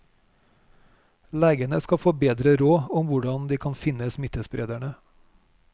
Legene skal få bedre råd om hvordan de kan finne smittesprederne.